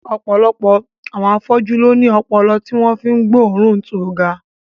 Ọ̀pọ̀lọpọ̀ àwọn afọ́jú ló ní ọpọlọ tí wọ́n fi ń gbóòórùn tó ga